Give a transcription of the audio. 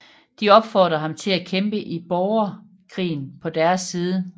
De opfordrede ham til at kæmpe i borgerkrigen på deres side